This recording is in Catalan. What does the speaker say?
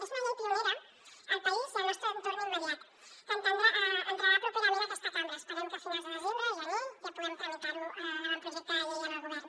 és una llei pionera al país i al nostre entorn immediat que entrarà properament a aquesta cambra esperem que a finals de desembre gener ja puguem tramitar l’avantprojecte de llei al govern